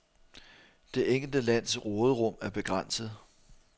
Det enkelte lands råderum er begrænset.